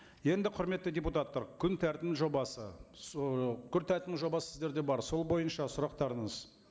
енді құрметті депутаттар күн тәртібінің жобасы күн тәртібінің жобасы сіздерде бар сол бойынша сұрақтарыңыз